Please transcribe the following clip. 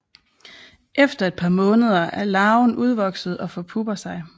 Efter et par måneder er larven udvokset og forpupper sig